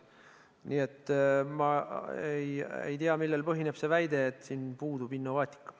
Nii et ma ei tea, millel põhineb see väide, et siin puudub innovaatika.